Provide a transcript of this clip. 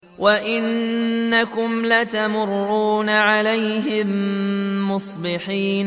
وَإِنَّكُمْ لَتَمُرُّونَ عَلَيْهِم مُّصْبِحِينَ